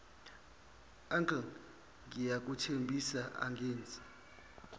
uncle ngiyakuthembisa angenzi